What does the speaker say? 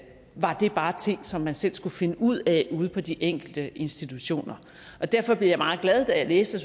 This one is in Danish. var det bare ting som man selv skulle finde ud af ude på de enkelte institutioner derfor blev jeg meget glad da jeg læste